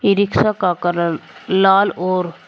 ई rickshaw का colour लाल और--